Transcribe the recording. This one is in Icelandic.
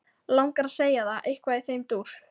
Langar að segja það, eitthvað í þeim dúr.